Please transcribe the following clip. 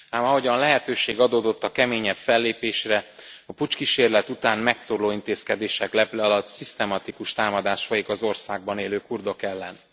Ám ahogyan lehetőség adódott a keményebb fellépésre, a puccskísérlet után megtorló intézkedések leple alatt szisztematikus támadás folyik az országban élő kurdok ellen.